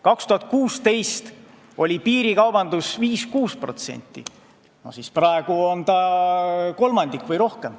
2016. aastal oli piirikaubanduse maht 5–6%, praegu on see kolmandik või rohkem.